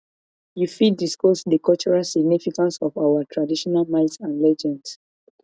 you fit discuss di cultural significance of our traditional myths and legends